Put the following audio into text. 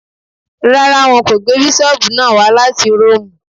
Rárá, wọn kò gbé bísọ̀bù náà wá láti róòmù